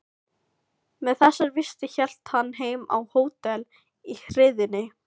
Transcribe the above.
Með þessar vistir hélt hann heim á hótel í hríðinni.